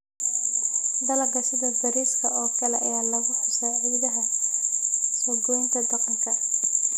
Dalagga sida bariiska oo kale ayaa lagu xusaa ciidaha soo goynta dhaqanka.